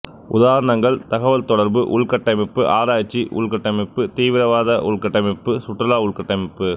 உதாரணங்கள் தகவல்தொடர்பு உள்கட்டமைப்பு ஆராய்ச்சி உள்கட்டமைப்பு தீவிரவாத உள்கட்டமைப்பு சுற்றுலா உள்கட்டமைப்பு